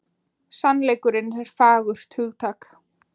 Sannleikurinn er fagurt hugtak.